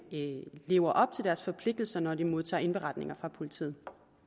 lever op til deres forpligtelser når de modtager indberetninger fra politiet